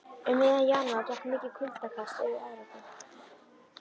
Um miðjan janúar gekk mikið kuldakast yfir Evrópu.